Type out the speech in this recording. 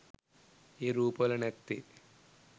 ඒ රූප වල නැත්තෙ?